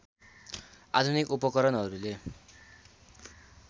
आधुनिक उपकरणहरूले